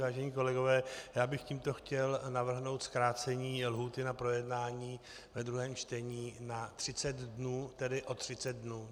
Vážení kolegové, já bych tímto chtěl navrhnout zkrácení lhůty na projednání ve druhém čtení na 30 dnů, tedy o 30 dnů.